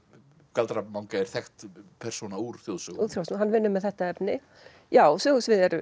galdra manga er þekkt persóna úr þjóðsögum hann vinnur með þetta efni já sögusviðið er